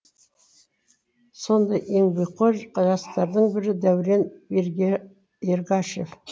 сондай еңбекқор жастардың бірі дәурен ергашев